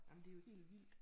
Ah men det er jo helt vildt